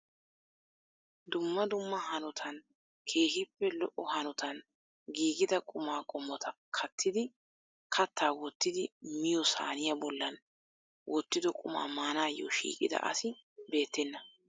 Dumma dumma hanotan keehippe lo"o hanotan giigida quma qommota kattidi katta wottidi miyiyyo saaniya bollan wottido qumaa maanayyo shiiqida asi beettena.